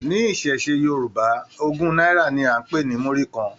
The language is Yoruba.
Ní iṣẹṣe Yorùbá, ogún náírà ní a n pe ní murí kàn.